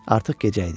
Artıq gecə idi.